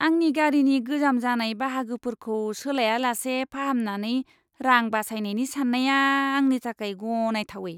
आंनि गारिनि गोजाम जानाय बाहागोफोरखौ सोलायालासे फाहामनानै रां बासायनायनि सान्नाया आंनि थाखाय गनायथावै!